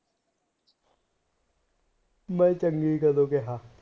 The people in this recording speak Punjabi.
ਮੈ ਚੰਗੀ ਕਦੋਂ ਕਿਹਾ